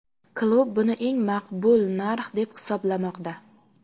Klub buni eng maqbul narx deb hisoblamoqda.